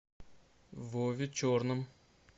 вове черном